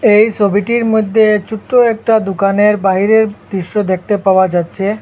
এই ছবিটির মধ্যে ছোট্ট একটা দোকানের বাইরের দৃশ্য দেখতে পাওয়া যাচ্ছে।